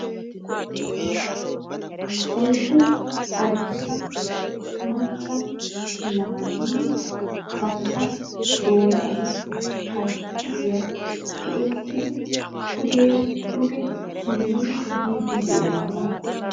Oyddu adussa macca naati bantta doonaani chappastikiya tiyetiri pudeera duge simmiri yiiddi de'oosona.